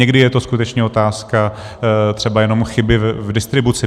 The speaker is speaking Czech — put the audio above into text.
Někdy je to skutečně otázka třeba jenom chyby v distribuci.